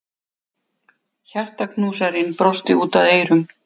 Hjartaknúsarinn brosti út að eyrum.